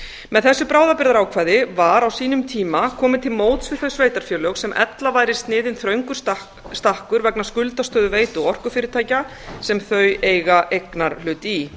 með þessu bráðabirgðaákvæði var á sínum tíma komið til móts við þau sveitarfélög sem ella væri sniðinn þröngur stakkur vegna skuldastöðu veitu og orkufyrirtækja sem þau eiga eignarhlut í